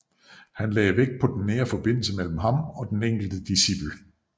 Han lagde vægt på den nære forbindelse mellem ham og den enkelte discipel